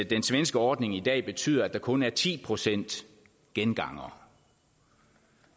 den svenske ordning i dag betyder at der kun er ti procent gengangere